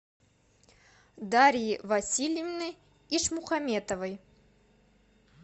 дарьи васильевны ишмухаметовой